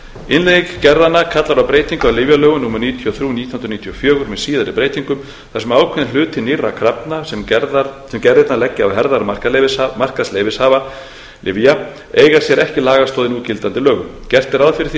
innleiðing gerðanna kallar á breytingu á lyfjalögum númer níutíu og þrjú nítján hundruð níutíu og fjögur með síðari breytingum þar sem ákveðinn hluti nýrra krafna sem gerðirnar leggja á herðar markaðsleyfishafa lyfja eiga sér ekki lagastoð í núgildandi lögum gert er ráð fyrir því að